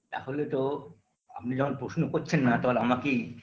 তাহলে তো আপনি যখন প্রশ্ন করছেন না তখন আমাকেই